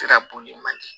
Sira bon man di